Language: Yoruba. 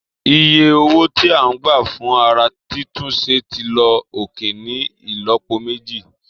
Iye owó tí a ń gbà fún ara títún ṣe ti lọ òkè ní ìlọ́po méjì